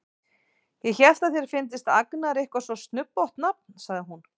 Ég hélt að þér fyndist Agnar eitthvað svo snubbótt nafn, sagði hún.